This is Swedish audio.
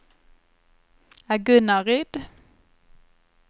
Agunnaryd